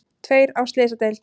Tveir á slysadeild